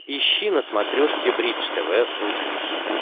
ищи на смотрешке бридж тв русский хит